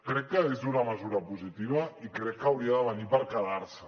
crec que és una mesura positiva i crec que hauria de venir per quedar se